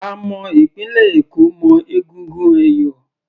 A mọ ìpínlẹ̀ Èkó mọ́ egungun ẹ̀yọ̀